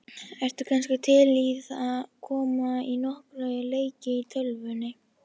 Ertu kannski til í að koma í nokkra leiki í tölvunni?